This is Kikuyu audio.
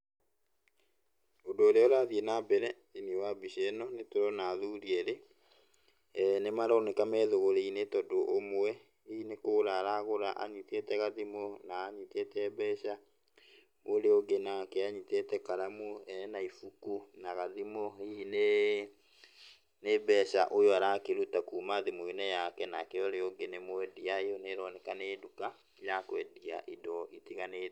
Ũndũ ũrĩa ũrathiĩ na mbere thĩiniĩ wa mbica ĩno nĩ turona athuri eerĩ eeh nĩ maroneka me thũgũrĩ-inĩ tondũ ũmwe hihi nĩ kũgũra aragũra anyitĩte gathimũ, na anyitĩte mbeca. Ũrĩa ũngĩ nake, anyitĩte karamu ena ibuku na gathimu hihi nĩ nĩ mbeca ũyũ arakĩruta kuuma thimũ-inĩ yake nake ũrĩa ũngĩ nĩ mwendia, ĩyo nĩ ĩroneka nĩ nduka ya kwendia indo itiganĩte.